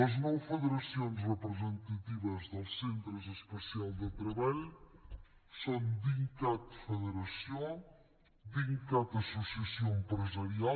les nou federacions representatives dels centres especials de treball són dincat federació dincat associació empresarial